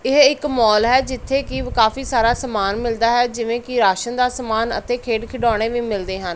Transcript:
ਇਹ ਇੱਕ ਮੌਲ ਹੈ ਜਿੱਥੇ ਕਿ ਕਾਫੀ ਸਾਰਾ ਸਮਾਨ ਮਿਲਦਾ ਹੈ ਜਿਵੇਂ ਕਿ ਰਾਸ਼ਨ ਦਾ ਸਮਾਨ ਅਤੇ ਖੇਡ ਖਿਡਾਉਣੇ ਵੀ ਮਿਲਦੇ ਹਨ।